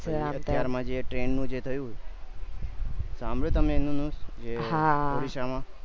ત્યારે માં જે train નું જે થયું સાંભળ્યું તમે એમનું news એ ઓડીસા માં